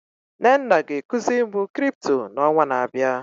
Nnenna ga ekuzi mụ Crypto na ọnwa na abịa